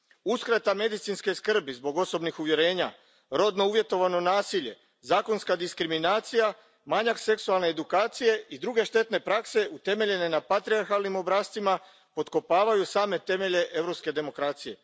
Uskrata medicinske skrbi zbog osobnih uvjerenja, rodno uvjetovano nasilje, zakonska diskriminacija, manjak seksualne edukacije i druge štetne prakse utemeljene na patrijarhalnim obrascima potkopavaju same temelje europske demokracije.